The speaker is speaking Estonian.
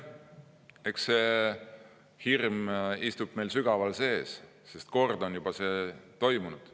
Eks see hirm istub meil sügaval sees, sest kord on see juba toimunud.